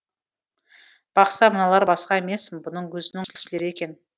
бақса мыналар басқа емес бұның өзінің кісілері екен